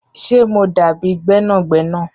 Ṣé mo dábi gbẹnàgbẹ̀nà?